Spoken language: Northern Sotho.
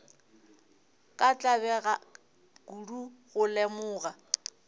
ka tlabega kudu go lemoga